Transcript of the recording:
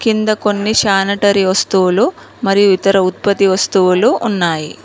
కింద కొన్ని శానిటరీ వస్తువులు మరియు ఇతర ఉత్పత్తి వస్తువులు ఉన్నాయి.